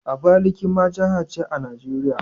Abakaliki ma jiha ce a Najeriya?